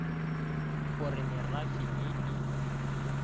o re merafe ye e